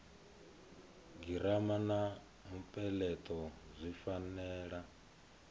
girama na mupeleto zwi fanela